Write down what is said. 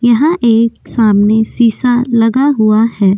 यहां एक सामने शीशा लगा हुआ है।